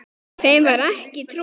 Þeim var ekki trúað.